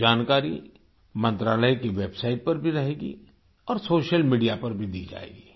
ये जानकारी मंत्रालय की वेबसाइट पर भी रहेगी और सोशल मीडिया पर भी दी जाएगी